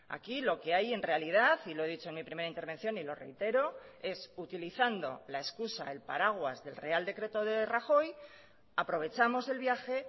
aquí lo que hay en realidad y lo he dicho en mi primera intervención y lo reitero es utilizando la excusa el paraguas del real decreto de rajoy aprovechamos el viaje